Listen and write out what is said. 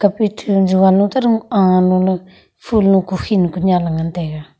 tomphai ta jovan no taro a la le ful lo kukhin kunyan lo taiga.